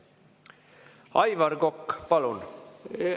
Aivar Kokk, palun!